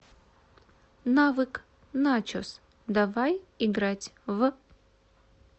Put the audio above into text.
навык начос давай играть в